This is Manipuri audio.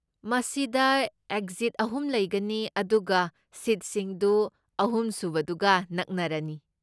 ꯃꯁꯤꯗ ꯑꯦꯛꯖꯤꯠ ꯑꯍꯨꯝ ꯂꯩꯒꯅꯤ, ꯑꯗꯨꯒ ꯁꯤꯠꯁꯤꯡꯗꯨ ꯑꯍꯨꯝꯁꯨꯕꯗꯨꯒ ꯅꯛꯅꯔꯅꯤ꯫